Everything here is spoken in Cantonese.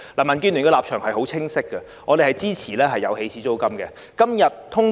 民建聯的立場很清晰，我們支持訂立起始租金。